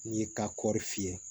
N'i y'i ka kɔɔri fiyɛ